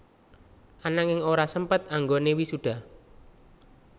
Ananging ora sempet anggoné wisuda